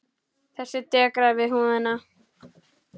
Þessi dekrar við húðina.